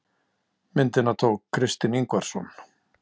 Myndina tók Kristinn Ingvarsson.